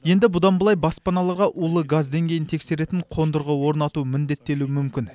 енді бұдан былай баспаналарға улы газ деңгейін тексеретін қондырғы орнату міндеттелуі мүмкін